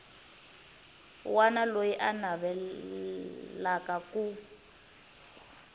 wana loyi a navelaka ku